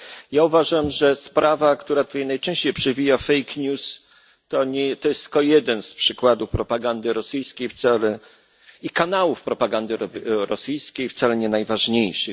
Ja uważam, że sprawa, która się tutaj najczęściej przewija, czyli fake news, to jest tylko jeden z przykładów propagandy rosyjskiej i kanałów propagandy rosyjskiej, wcale nie najważniejszy.